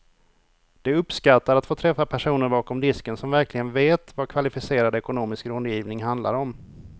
De uppskattar att få träffa personer bakom disken som verkligen vet vad kvalificerad ekonomisk rådgivning handlar om.